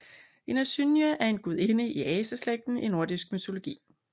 En asynje er en gudinde af aseslægten i nordisk mytologi